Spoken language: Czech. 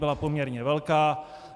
Byla poměrně velká.